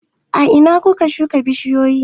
A ina ka shuka bishiyoyin?